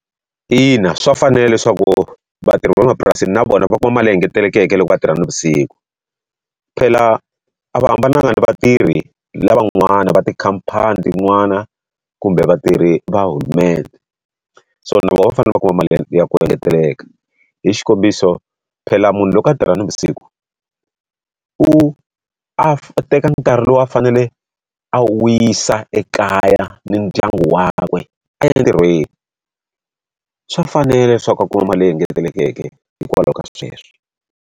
Ina, swa fanela leswaku vatirhi va le mapurasini na vona va kuma mali leyi ngetelekeke loko va tirha na vusiku. Phela a va hambananga ni vatirhi lavan'wana va tikhamphani tin'wana kumbe vatirhi va hulumende. So na vona va fanele va kuma mali ya ya ku engeteleka. Hi xikombiso phela munhu loko a tirha navusiku, u a teka nkarhi lowu a fanele a wisa ekaya ni ndyangu wakwe a ya entirhweni. Swa fanela leswaku a kuma mali leyi engetelekeke hikwalaho ka sweswo.